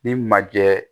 Ni majɛ